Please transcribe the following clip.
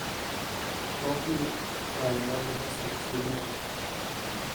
google okang mag loso chiemogo